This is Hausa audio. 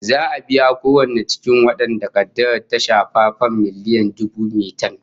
Za'a biya kowanne cikin wadanda kaddarar ta shafa fam miliyan dubu metan